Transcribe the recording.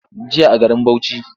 Jiya a garin Bauchi.